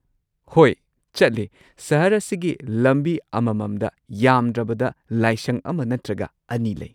ꯍꯣꯏ, ꯆꯠꯂꯤ꯫ ꯁꯍꯔ ꯑꯁꯤꯒꯤ ꯂꯝꯕꯤ ꯑꯃꯃꯝꯗ ꯌꯥꯝꯗ꯭ꯔꯕꯗ ꯂꯥꯏꯁꯪ ꯑꯃ ꯅꯠꯇ꯭ꯔꯒ ꯑꯅꯤ ꯂꯩ꯫